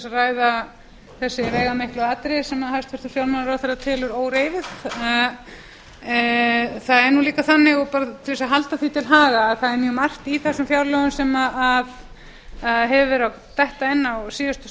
ræða þau veigamiklu atriði sem hæstvirtur fjármálaráðherra telur óreifuð til að halda því til haga er mjög margt í þessum fjárlögum sem hefur verið að detta inn á síðustu